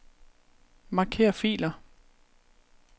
Marker filer.